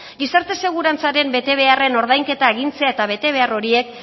gizarte segurantzaren betebeharren ordainketa agintzea eta betebehar horiek